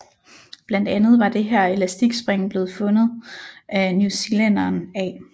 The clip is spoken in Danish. Blandt andet var det her elastikspring blev opfundet af New Zealænderen A